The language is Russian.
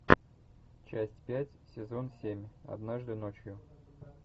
часть пять сезон семь однажды ночью